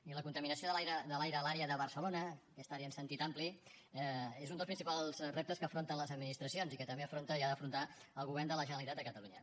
i la contaminació de l’aire a l’àrea de barcelona aquesta àrea en sentit ampli és un dels principals reptes que afronten les administracions i que també afronta i ha d’afrontar el govern de la generalitat de catalunya